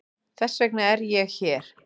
Þess vegna er ég hér.